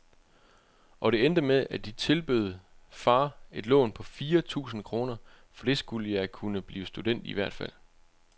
Og det endte med, at de tilbød far et lån på fire tusinde kroner, for det skulle jeg kunne blive student i hvert fald.